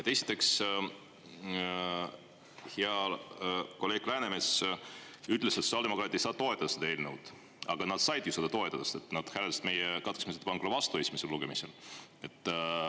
Esiteks, hea kolleeg Läänemets ütles, et sotsiaaldemokraadid ei saa toetada seda eelnõu, aga nad said ju seda toetada, sest nad hääletasid meie katkestamisettepaneku vastu esimesel lugemisel.